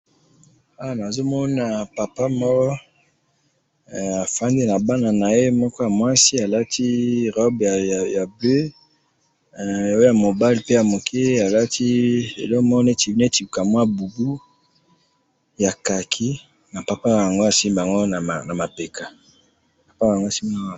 Awa nazo mona papa moko afandi na bana na ye ,moko ya mwasi alati robe ya bleue oyo ya mobali pe ya moke alati eloko neti ka mua bubu ya khaki na papa na bango azo simba bango na mapeka